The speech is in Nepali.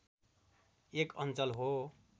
एक अञ्चल हो